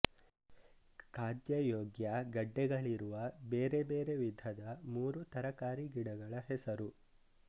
ಖಾದ್ಯಯೋಗ್ಯ ಗಡ್ಡೆಗಳಿರುವ ಬೇರೆ ಬೇರೆ ವಿಧದ ಮೂರು ತರಕಾರಿಗಿಡಗಳ ಹೆಸರು